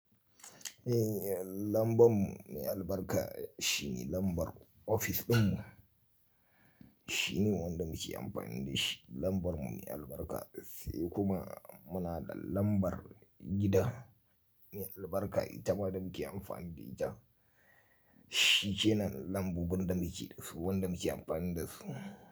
Eh, lambar mu mai albarka shine lambar ofis ɗinmu. Shine wanda muke amfani da shi lambar mu mai albarka, sai kuma muna da lambar gida mai albarka, ita ma da muke amfani da ita. Shi kinan lambobin da muke da su, wanda muke amfani da su.